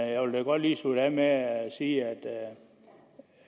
jeg vil godt lige slutte af med at sige at